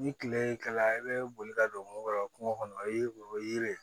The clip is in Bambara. Ni tile kɛla i bɛ boli ka don kungo kɔnɔ kungo kɔnɔ o ye o ye